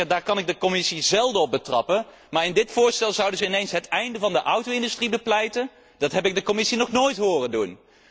Daar kan ik de Commissie zelden op betrappen, maar in dit voorstel zouden zij ineens het einde van de auto industrie bepleiten? Dat heb ik de Commissie nog nooit horen doen!